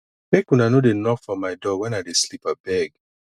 make una no dey knock for my door wen i dey sleep abeg